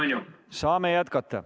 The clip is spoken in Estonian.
Palun!